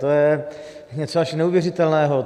To je něco až neuvěřitelného.